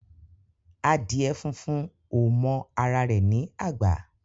Adiè fúnfún ó mò àrá rè ni ágbà